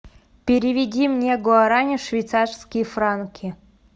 переведи мне гуарани в швейцарские франки